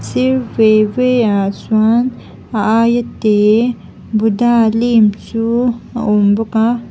sir ve ve ah chuan a aia te buddha lim chu a awm bawk a.